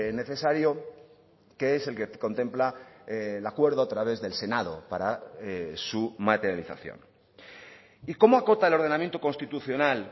necesario que es el que contempla el acuerdo a través del senado para su materialización y cómo acota el ordenamiento constitucional